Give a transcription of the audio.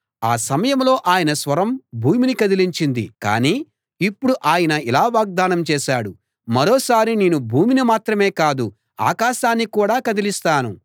ఆ సమయంలో ఆయన స్వరం భూమిని కదిలించింది కానీ ఇప్పుడు ఆయన ఇలా వాగ్దానం చేశాడు మరోసారి నేను భూమిని మాత్రమే కాదు ఆకాశాన్ని కూడా కదిలిస్తాను